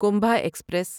Kumbha express